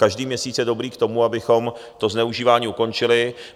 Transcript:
Každý měsíc je dobrý k tomu, abychom to zneužívání ukončili.